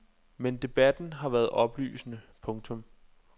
Men debatten har været oplysende. punktum